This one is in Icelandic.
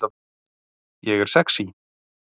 Ég er sexý